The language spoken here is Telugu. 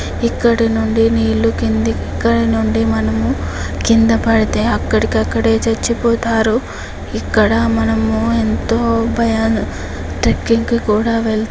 ఇక్కడ నుండి నీటిలో కిందకి ఇక్కడ నుండి మనము కింద పాడితే అక్కడికక్కడే చచ్చిపోతారు. ఇక్కడ మనము ఎంతో భయం-- కూడా వెళతారు--